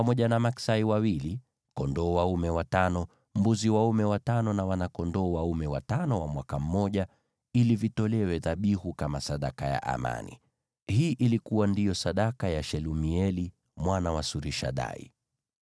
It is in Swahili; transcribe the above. maksai wawili, kondoo dume watano, mbuzi dume watano na wana-kondoo dume watano wa mwaka mmoja, ili vitolewe dhabihu kama sadaka ya amani. Hii ndiyo ilikuwa sadaka ya Shelumieli mwana wa Surishadai.